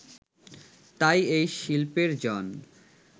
তাই এই শিল্পের জন্